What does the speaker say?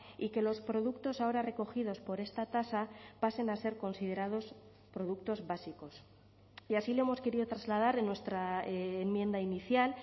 y que los productos ahora recogidos por esta tasa pasen a ser considerados productos básicos y así lo hemos querido trasladar en nuestra enmienda inicial